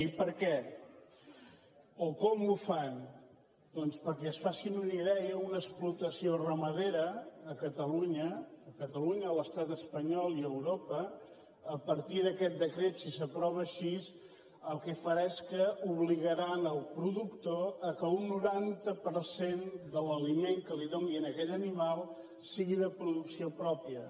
i per què o com ho fan doncs perquè se’n facin una idea una explotació ramadera a catalunya a catalunya a l’estat espanyol i a europa a partir d’aquest decret si s’aprova així el que farà és que obligaran el productor que un noranta per cent de l’aliment que li doni a aquell animal sigui de producció pròpia